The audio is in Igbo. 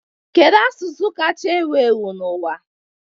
Kedu asụsụ kacha ewu ewu n'ụwa?